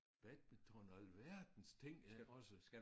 Badminton og alverdens ting også